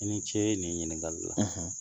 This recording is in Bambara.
I ni ce nin ɲininkali la